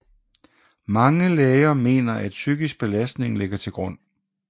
Mange læger mener at psykisk belastning ligger til grund